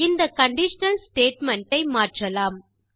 இந்த conditional statement ஐ மாற்றலாம்